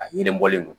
A yiribɔlen don